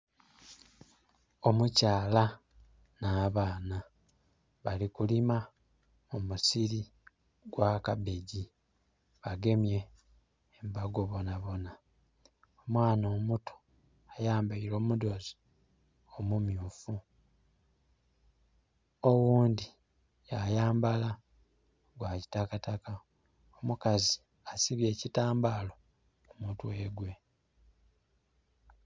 Omukyala na baana bali kulima mumusiri gwa kabegi bagemye embago bona bona. Omwaana omuto ayambeire omudhozi omumyufu oghundi yayambala gwa kitakataka. Omukazi asibye ekitambala ku mutwe gwe.